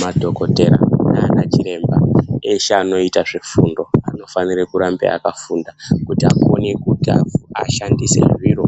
Madhokotera nana chiremba eshe anoita zvefundo anofanira kurambe akafunda kuti akone kushandisa zviro